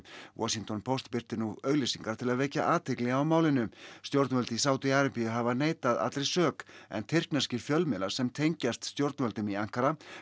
Washington Post birtir nú auglýsingar til að vekja athygli á málinu stjórnvöld í Sádi Arabíu hafa neitað allri sök en tyrkneskir fjölmiðlar sem tengjast stjórnvöldum í Ankara